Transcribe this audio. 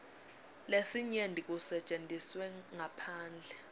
lesinyenti kusetjentiswe ngaphandle